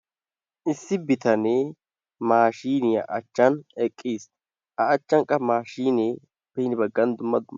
Issi bitanee maashiiniya achchan eqqiis. A achchan qa maashiinee hini baggan dumma dumma,,